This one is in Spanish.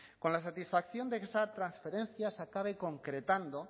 con la satisfacción de que esa transferencia se acabe concretando